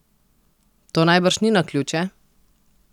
To najbrž ni naključje?